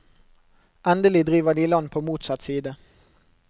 Endelig driver de i land på motsatt side.